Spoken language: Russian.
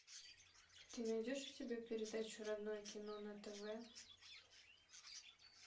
ты найдешь у себя передачу родное кино на тв